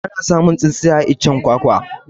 Ana samun tsintsiya a iccen kwakwa